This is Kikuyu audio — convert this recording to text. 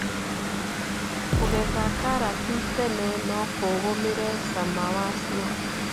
Kũgetha karati tene nokũgũmire cama wacio.